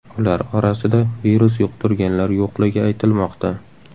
Ular orasida virus yuqtirganlar yo‘qligi aytilmoqda.